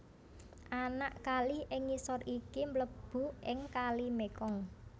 Anak kali ing ngisor iki mlebu ing Kali Mekong